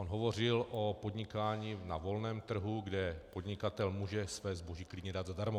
On hovořil o podnikání na volném trhu, kde podnikatel může své zboží dát klidně zadarmo.